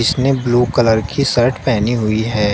इसने blue colour की shirt पहनी हुई है।